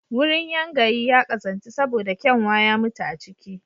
Wurin yangayi ya ƙazantu saboda kyanwa ya mutu a ciki